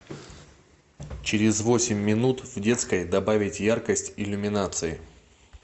через восемь минут в детской добавить яркость иллюминации